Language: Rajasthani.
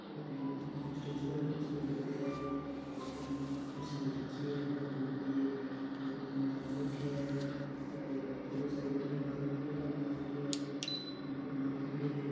ओ टैंट स्टेज पर स्पीकर पड्या है दो तीन कुर्सियां डल रखी है धोला कलर की दो तीन जन आदमी बैठ्या है और एक बढ़ो सार को पलंग लाग पलंग लाग रखयो है बी पर नाम लिखेड़ो है।